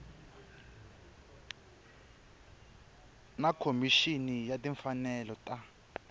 na khomixini ya timfanelo ta